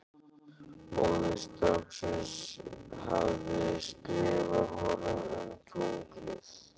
Móðir stráksins hafði skrifað honum um tunglið.